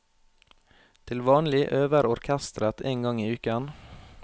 Til vanlig øver orkesteret én gang i uken.